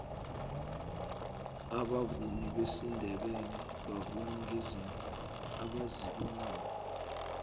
abavumi besindebele bavuma ngezinto abazibonako